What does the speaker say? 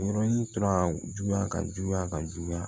Yɔrɔnin tora juguya ka juguya ka juguya